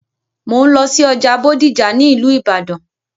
Mò ń lọ sí ọjà Bódìjà ní ìlú ìbàdàn.